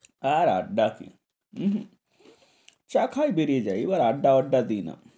আর আড্ডা কি উম চা খাই বেড়িয়ে যাই এবার আড্ডা আড্ডা দিই না।